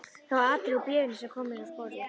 Það var atriði úr bréfinu sem kom mér á sporið.